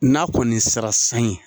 N'a kɔni sera san ye